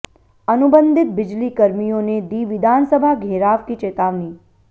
अनुबंधित बिजली कर्मियों ने दी विधानसभा घेराव की चेतावनी